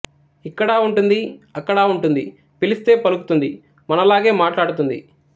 ఇక్కడ ఉంటుంది అక్కడ ఉంటుంది పిలిస్తె పలుకుతుంది మనలాగే మాట్లాడుతుంది